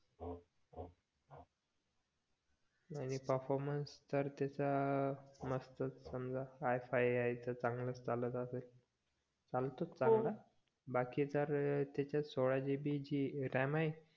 आणि परफॉर्मन्स तर त्याचा मस्तच समजा आय फाईव्ह आहे तर चांगलाच चालत असेल चालतोच चांगला बाकी तर त्याच्यात सोळा GB ram आहे